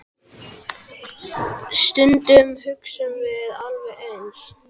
Stundum hugsum við alveg eins.